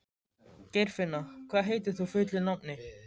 Geirfinna, hvað heitir þú fullu nafni?